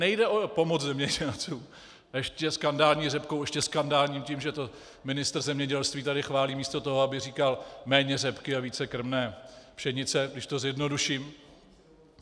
Nejde o pomoc zemědělcům, ještě skandální řepkou, ještě skandální tím, že to ministr zemědělství tady chválí místo toho, aby říkal méně řepky a více krmné pšenice, když to zjednoduším.